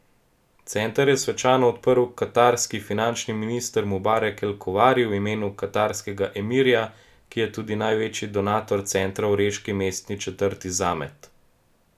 Center je svečano odprl katarski finančni minister Mubarek El Kuvari v imenu katarskega emirja, ki je tudi največji donator centra v reški mestni četrti Zamet.